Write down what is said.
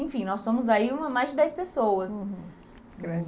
Enfim, nós somos aí mais de dez pessoas. Uhum.